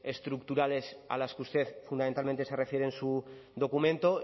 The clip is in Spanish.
estructurales a las que usted fundamentalmente se refiere en su documento